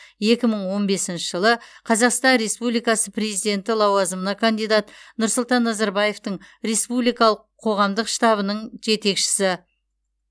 екі мың он бесінші жылы қазақстан республикасы президенті лауазымына кандидат нұрсұлтан назарбаевтың республикалық қоғамдық штабының жетекшісі